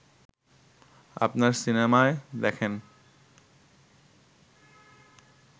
আপনার সিনেমায় দেখেন